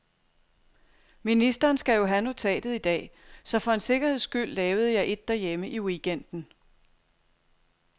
Ministeren skal jo have notatet i dag, så for en sikkerheds skyld lavede jeg et derhjemme i weekenden.